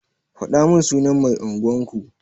Fadamin sunan mai unguwan ku.